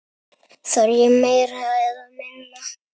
Þarf ég meira eða minna?